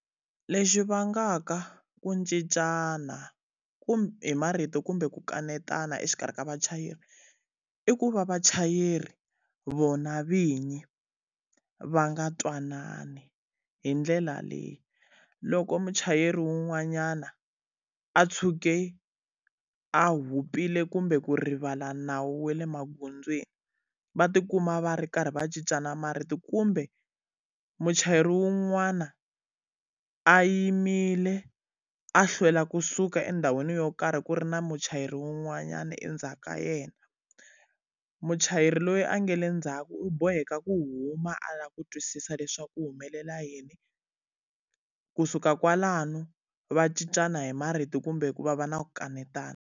Lexi vangaka ku cincana hi marito kumbe ku kanetana exikarhi ka vachayeri, i ku va vachayeri vona vinyi, va nga twanani hi ndlela leyi. Loko muchayeri wun'wanyana a ntshuke a hupile kumbe ku rivala nawu wa le magondzweni, va ti kuma va ri karhi va cincana marito kumbe, muchayeri wun'wana a a yimile a hlwela kusuka endhawini yo karhi ku ri na muchayeri wun'wanyana endzhaku ka yena. Muchayeri loyi a nga le ndzhaku u boheka ku huma a lava ku twisisa leswaku ku humelela yini, kusuka kwalano va cincana hi marito kumbe ku va va na ku kanetana.